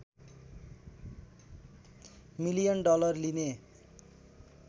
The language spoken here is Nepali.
मिलियन डलर लिने